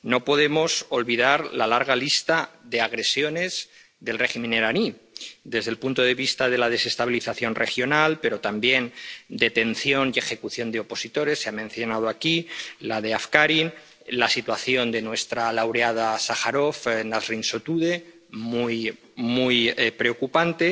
No podemos olvidar la larga lista de agresiones del régimen iraní, desde el punto de vista de la desestabilización regional, pero también la detención y ejecución de opositores —se ha mencionado aquí la de Afkari, la situación de nuestra laureada Sájarov, Nasrín Sotudé, muy preocupante—